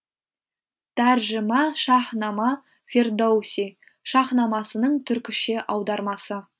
тәржіма шаһнама фердоуси шаһнамасының түркіше аудармасы